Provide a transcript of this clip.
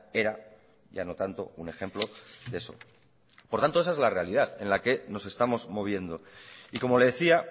era ya no tanto un ejemplo de eso por tanto esa es la realidad en la que nos estamos moviendo y como le decía